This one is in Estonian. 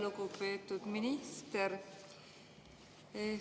Lugupeetud minister!